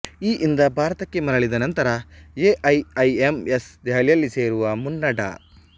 ಯಿಂದ ಭಾರತಕ್ಕೆ ಮರಳಿದ ನಂತರ A I I M S ದೆಹಲಿಯಲ್ಲಿ ಸೇರುವ ಮುನ್ನ ಡಾ